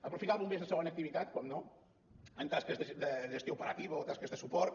aprofitar els bombers de segona activitat evidentment en tasques de gestió operativa o tasques de suport